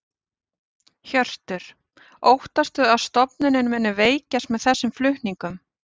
Hjörtur: Óttastu að stofnunin muni veikjast með þessum flutningum?